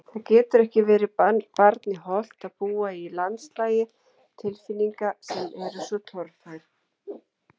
Það getur ekki verið barni hollt að búa í landslagi tilfinninga sem eru svo torfærar.